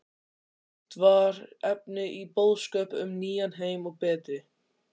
Allt var efni í boðskap um nýjan heim og betri